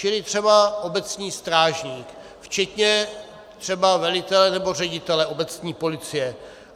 Čili třeba obecní strážník, včetně třeba velitele nebo ředitele obecní policie.